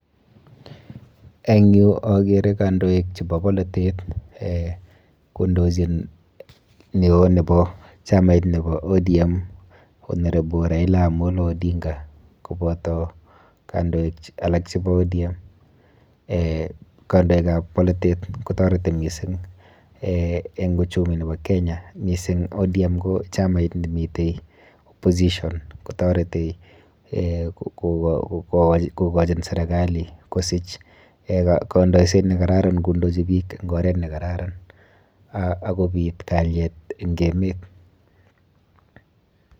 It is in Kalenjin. Eng yu akere kandoik chepo polotet um kondochin neo nepo chamait napo orange democratic movement honorable Raila Amolo Odinga kopoto kandoik alak chepo orange democratic movement. um Kandoikap polotet kotoreti mising um eng uchumi nepo Kenya mising orange democratic movement ko chamait nemite opposition kotoreti um kokochin serikali kosich[um] kandoiset nekararan kondochi biik eng oret nekararan ak kobit kalyet eng emet.